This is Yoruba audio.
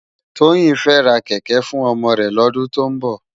Toyin fè rá kèkè fún òmò rè lòdún tó nbò